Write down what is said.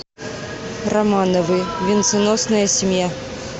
романовы венценосная семья